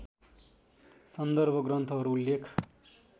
सन्दर्भ ग्रन्थहरू उल्लेख